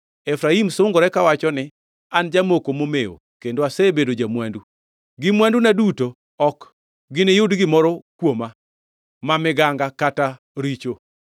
Efraim sungore kawacho ni, “An jamoko momewo, kendo asebedo ja-mwandu. Gi mwanduna duto ok giniyud gimoro kuoma ma miganga kata richo.”